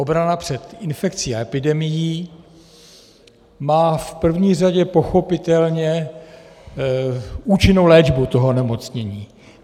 Obrana před infekcí a epidemií má v první řadě pochopitelně účinnou léčbu toho onemocnění.